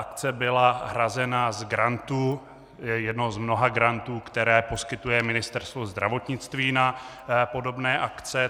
Akce byla hrazena z grantu, jednoho z mnoha grantů, které poskytuje Ministerstvo zdravotnictví na podobné akce.